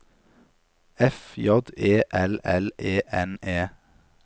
F J E L L E N E